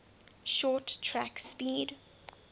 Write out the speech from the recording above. short track speed